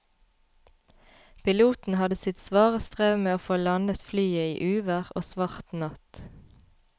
Piloten hadde sitt svare strev med å få landet flyet i uvær og svart natt.